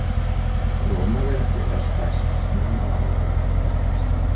rómaveldi var stærst snemma á annarri öld eftir krist